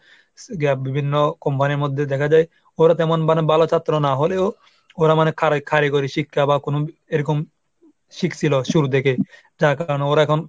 সেটা বিভিন্ন company র মধ্যে দেখা যায় ওরা তেমন মানে ভালো ছাত্র না হলেও ওরা মানে কারি~ কারিগরি শিক্ষা বা কোন এরকম শিখছিলো শুরু থেকে যার কারনে ওরা এখন,